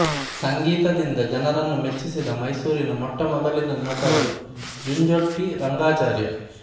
ಸಂಗೀತದಿಂದ ಜನರನ್ನು ಮೆಚ್ಚಿಸಿದ ಮೈಸೂರಿನ ಮೊಟ್ಟ ಮೊದಲಿನ ನಟರು ಜುಂಜೋಟಿ ರಂಗಾಚಾರ್ಯ